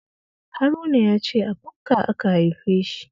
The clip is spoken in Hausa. Haruna ya ce a bukka aka haife shi